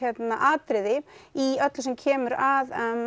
atriði í öllu sem kemur að